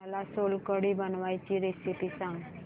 मला सोलकढी बनवायची रेसिपी सांग